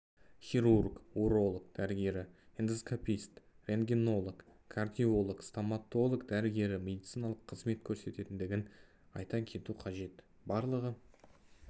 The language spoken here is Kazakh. хирург уролог дәрігері эндоскопист рентгенолог кардиолог стоматолог дәрігерлері медициналық қызмет көрсететіндігін айта кету қажет барлығы